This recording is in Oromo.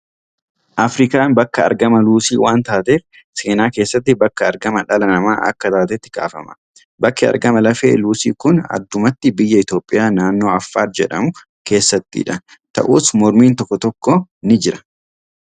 Afirikaan bakka argama luusii waan taateef, seenaa keessatti bakka argama dhala namaa akka taatetti kaafama. Bakki argama lafee luusii kun addumatti biyya Itoophiyaa, naannoo Affaar jedhamu keessattidha. Ta'us, mormiin tokko tokko ni jira.